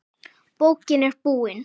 Bókin er búin.